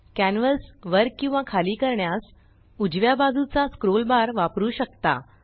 canvas वर किंवा खाली करण्यास उजव्या बाजूचा स्क्रोल बार वापरु शकता